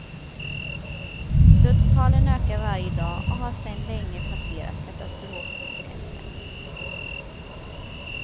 Dödstalen ökar varje dag och har sen länge passerat katastrofgränsen.